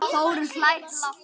Þórunn hlær lágt.